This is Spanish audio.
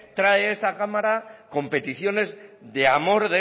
trae a esta cámara competiciones de amor